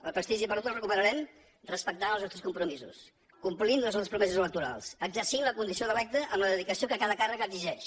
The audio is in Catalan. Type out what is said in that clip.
el prestigi perdut el recuperarem respectant els nostres compromisos complint les nostres promeses electorals exercint la condició d’electe amb la dedicació que cada càrrec exigeix